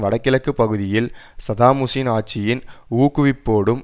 வடகிழக்கு பகுதிகளில் Saddam Hussein ஆட்சியின் ஊக்குவிப்போடும்